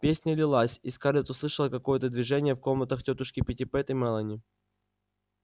песня лилась и скарлетт услышала какое-то движение в комнатах тётушки питтипэт и мелани